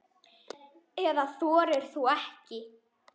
Eða þorir þú ekki?